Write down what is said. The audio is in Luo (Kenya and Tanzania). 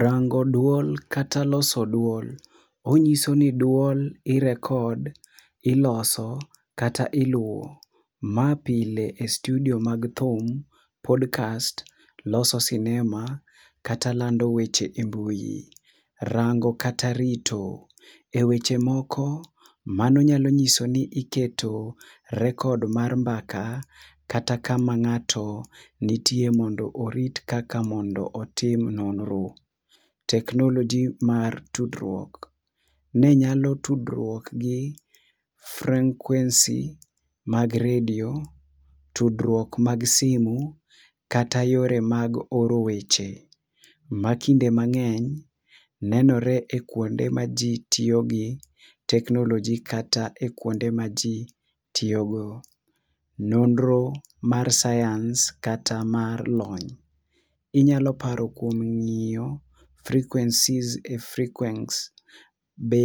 Rango duol kata loso duol, onyiso ni duol irekod, iloso kata iluwo. Ma pile e studio mag thum, podkast, loso sinema kata lando weche e mbui. Rango kata rito, e weche moko, mano nyiso ni iketo rekod mar mbaka kata kama ng'ato nitie mondo orit kaka mondo otim nonro. Teknoloji mae tudruok, ne nyalo tudruok gi freng'kwensi mag redio, tudruok mag simu kata yore mag oro weche. Ma kinde mang'eny nenore e kuonde ma ji tiyogi teknoloji kata e kuonde ma ji tiyogo. Nonro mar sayans kata mar lony: Inyalo paro kuom ng'iyo frikwensis e frikwens. Be